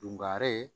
Dungare